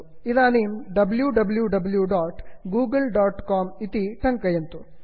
इदानीं wwwgooglecom W W W dot Google dot com इति टङ्कयन्तु